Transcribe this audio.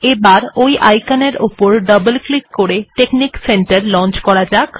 এবার ওই আইকন এর ওপরে ডবল ক্লিক করে টেকনিক্ সেন্টার লঞ্চ করা হবে